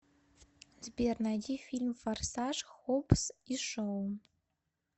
сбер найди фильм форсаж хоббс и шоу